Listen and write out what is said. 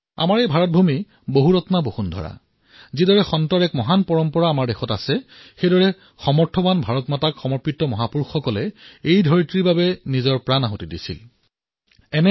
আমাৰ এই ভাৰত ভূমি বহুৰত্না বসুন্ধৰা কিয়নো সন্তসমূহৰ মহান পৰম্পৰা আমাৰ দেশত আছে সেইদৰে সামৰ্থৱান মাভাৰতীক সমৰ্পিত মহাপুৰুষসকলে এই ধৰাৰ বাবে নিজৰ জীৱন আহুতি দিছে সমৰ্পিত কৰিছে